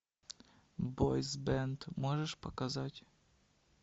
бойз бэнд можешь показать